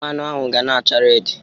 Mmanụ ahụ ga na-acha redi